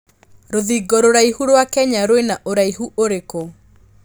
rũthingo rũraihu rwa Kenya rwĩna ũraihu ũrikũ